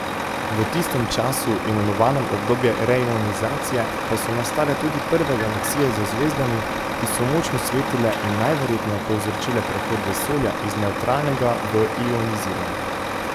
V tistem času, imenovanem obdobje reionizacije, pa so nastale tudi prve galaksije z zvezdami, ki so močno svetile in najverjetneje povzročile prehod vesolja iz nevtralnega v ionizirano.